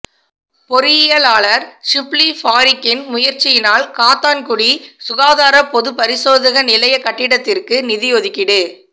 பொறியியலாளர் ஷிப்லி பாறுக்கின் முயற்சியினால் காத்தான்குடி சுகாதார பொதுப்பரிசோதக நிலையக் கட்டடத்திற்கு நிதியொதுக்கீடு